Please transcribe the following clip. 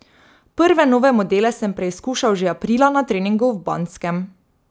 Prve nove modele sem preizkušal že aprila na treningu v Banskem.